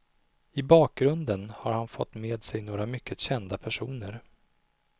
I bakgrunden har han fått med sig några mycket kända personer.